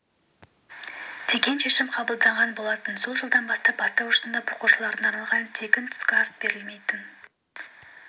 деген шешім қабылданған болатын сол жылдан бастап бастауыш сынып оқушыларына арналған тегін түскі ас берілмейтін